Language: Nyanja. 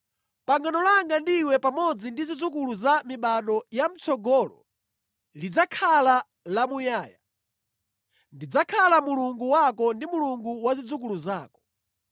Pangano langa ndi iwe pamodzi ndi zidzukulu za mibado ya mʼtsogolo lidzakhala la muyaya. Ndidzakhala Mulungu wako ndi Mulungu wa zidzukulu zako.